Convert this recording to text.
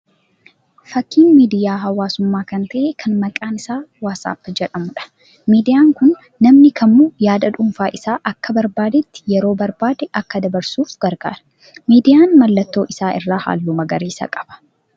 Fakkii miidiyaa hawwaasummaa kan ta'ee kan maqaan isaa 'WhatsApp' jedhamuudha. Miidiyaan kun namni kamuu yaada dhuunfaa isaa akka barbaadeetti yeroo barbaade akka dabarfatuuf gargaara. Miidiyaan mallattoo isaa irraa halluu magariisa qaba.